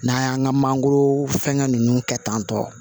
N'an y'an ka mangoro fɛngɛ ninnu kɛ tan tɔ